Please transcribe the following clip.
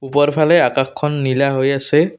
ওপৰফালে আকাশখন নীলা হৈ আছে।